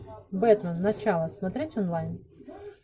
бэтмен начало смотреть онлайн